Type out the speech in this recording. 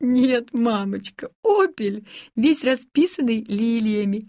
нет мамочка опель весь расписанный лилиями